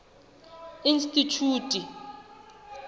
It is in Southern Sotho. institjhute